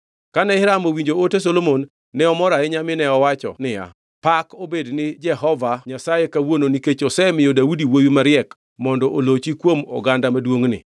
Kane Hiram owinjo ote Solomon ne omor ahinya mine owacho niya, “Pak obed ni Jehova Nyasaye kawuono nikech osemiyo Daudi wuowi mariek mondo olochi kuom oganda maduongʼni.”